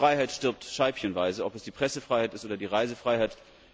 Die Freiheit stirbt scheibchenweise, ob es die Pressefreiheit ist oder die Reisefreiheit.